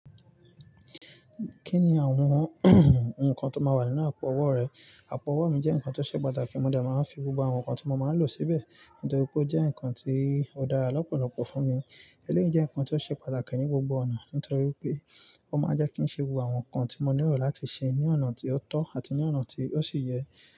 Kí ni àwọn nǹkan tó máa wà nínú àpò ọwọ́ rẹ? Àpò ọwọ́ mi jẹ́ nǹkan tó ṣe pàtàkì, mọ dé máa ń fi gbogbo àwọn ǹkan tí mo máa ń lò síbẹ̀ nítorí pé ó jẹ́ nǹkan tí ó dára lọ́pọ̀lọpọ̀ fún mi. Eléyìí jẹ́ nǹkan tó ṣe pàtàkì ní gbogbo ọ̀nà nítorí pé ó máa ń jẹ́ kí ń ṣe gbogbo àwọn ǹkan tí mọ nílò láti ṣe ní ọ̀nà tí ó tọ́ àti ní ọ̀nà tí ó ṣì yẹ.